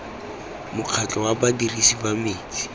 mokgatlho wa badirisi ba metsi